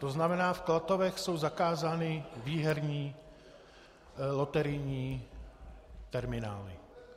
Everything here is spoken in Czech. To znamená, v Klatovech jsou zakázány výherní loterijní terminály.